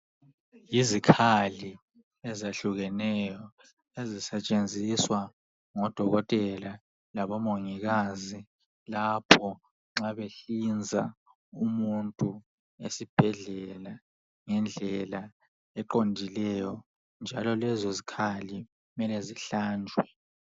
Yizikhali ezahlukeneyo ezisetshenziswa ngodokotela labomongikazi lapho nxa behlinza umuntu esibhedlela ngendlela eqondileyo njalo lezo zikhali kumele zihlanjwe.